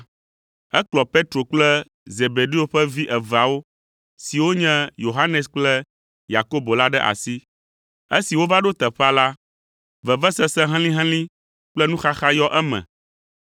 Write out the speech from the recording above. Ekplɔ Petro kple Zebedeo ƒe vi eveawo siwo nye Yohanes kple Yakobo la ɖe asi. Esi wova ɖo teƒea la, vevesese helĩhelĩ kple nuxaxa yɔ eme.